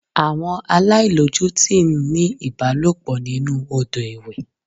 Àwọn aláìlójútì ń ní ìbálòpọ̀ nínú Odò ìwẹ̀.